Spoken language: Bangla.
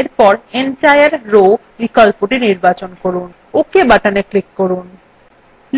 এরপর সম্পূর্ণ সারি বিকল্পটি নির্বাচন করুন ok button click করুন